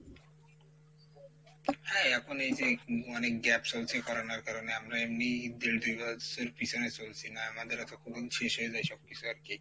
হ্যাঁ এখন এইযে অনেক gap চলছে Corona এর কারণে আমরা এমনিই পিছনে চলছি না আমাদের হয়তো শেষ হয়ে যাই সব কিছু আরকি।